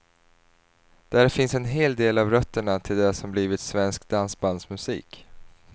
Där finns en hel del av rötterna till det som blivit svensk dansbandsmusik.